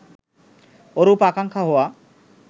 ওরূপ আকাঙ্খা হওয়া